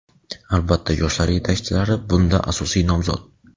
Albatta yoshlar yetakchilari bunda asosiy nomzod.